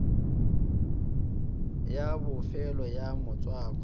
ya bofelo ya motswako wa